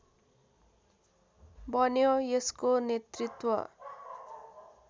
बन्यो यसको नेतृत्व